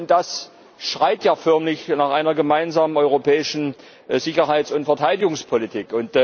Das schreit ja förmlich nach einer gemeinsamen europäischen Sicherheits und Verteidigungspolitik.